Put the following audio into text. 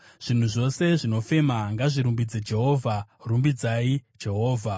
Zvinhu zvose zvinofema, ngazvirumbidze Jehovha. Rumbidzai Jehovha.